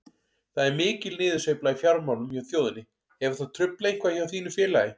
Það er mikil niðursveifla í fjármálum hjá þjóðinni, hefur það truflað eitthvað hjá þínu félagi?